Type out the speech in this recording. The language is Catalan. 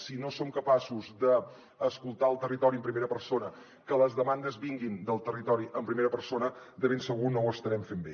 si no som capaços d’escoltar el territori en primera persona que les demandes vinguin del territori en primera persona de ben segur que no ho estarem fent bé